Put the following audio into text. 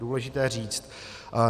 Důležité říct.